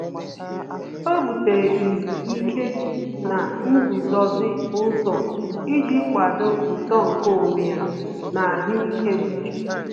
Ọ́ bùtéré izu ike na nguzozi ụzọ iji kwàdòọ́ uto nke onwe ya na ahụ́ị́ké úchè.